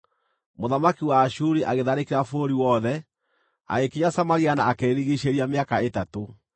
Mũthamaki wa Ashuri agĩtharĩkĩra bũrũri wothe, agĩkinya Samaria na akĩrĩrigiicĩria mĩaka ĩtatũ.